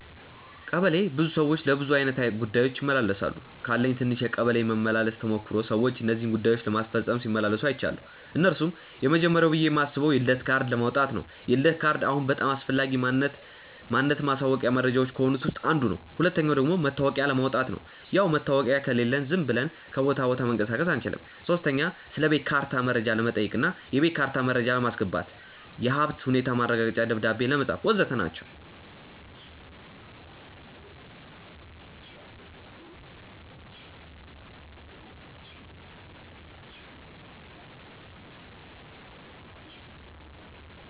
ቀበሌ ብዙ ሰዎች ለብዙ አይነት ጉዳዮች ይመላለሳሉ። ካለኝ ትንሽ የቀበሌ መመላለስ ተሞክሮ ሰዎች እነዚህን ጉዳዮች ለማስፈጸም ሲመላለሱ አይችያለው። እነርሱም፦ የመጀመርያው ብዬ ማስበው የልደት ካርድ ለማውጣት ነው፤ የልደት ካርድ አሁን በጣም አስፈላጊ ማንነት ማሳወቂያ መረጃዎች ከሆኑት ውስጥ አንዱ ነው። ሁለተኛው ደግሞ መታወቂያ ለማውጣት፣ ያው መታወቂያ ከሌለን ዝም ብለን ከቦታ ቦታ መንቀሳቀስ አንችልም። ሶስተኛ ስለቤት ካርታ መረጃ ለመጠየቅ እና የቤት ካርታ መረጃ ለማስገባት፣ የሀብት ሁኔታ ማረጋገጫ ደብዳቤ ለማጻፍ.... ወዘተ ናቸው።